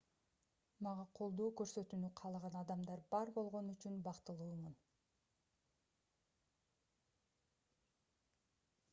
мага колдоо көрсөтүүнү каалаган адамдар бар болгону үчүн бактылуумун